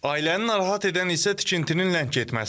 Ailəni narahat edən isə tikintinin ləng getməsidir.